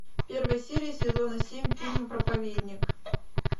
первая серия сезона семь фильма проповедник